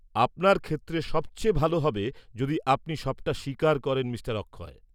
-আপনার ক্ষেত্রে সবচেয়ে ভালো হবে যদি আপনি সবটা স্বীকার করেন মিঃ অক্ষয়।